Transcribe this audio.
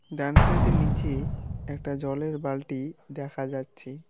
ডান side -এ নীচে একটা জলের বালটি দেখা যাচ্ছে।